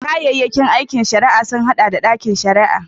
Kayayyakin aikin shari'a sun haɗa da ɗakin shari'a